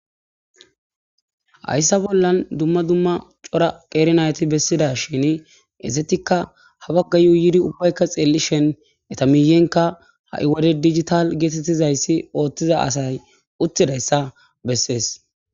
hayssa bollan dumma dumma cora qeernayti bessida shin ezetikka habaggayuuyidi ubbaykka xeellishen eta miyenka ha7iwade digital geetettizayssi ooththiza asay uttidayssa bessees